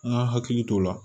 An ka hakili t'o la